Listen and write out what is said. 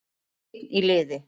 Einn í liði